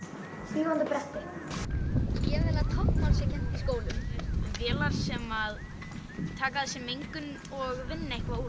fljúgandi bretti ég vill að táknmál sé kennt í skólum vélar sem taka af sér mengun og vinna eitthvað úr